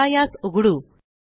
चला यास उघडु